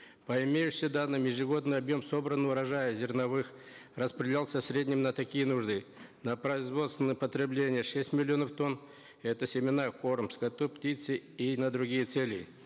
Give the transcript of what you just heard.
по имеющимся данным ежегодный объем собранного урожая зерновых рапределялся в среднем на такие нужды на производственное потребление шесть миллионов тонн это семена корм скоту птице и на другие цели